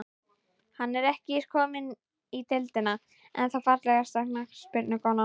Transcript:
Hann er ekki kominn í deildina, ennþá Fallegasta knattspyrnukonan?